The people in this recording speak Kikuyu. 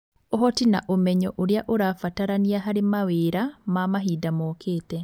Ũhoti na ũmenyo ũrĩa ũrabatarania harĩ mawĩra ma mahinda mokĩte.